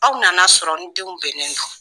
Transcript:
Aw nana sɔrɔ n denw bɛnnen don.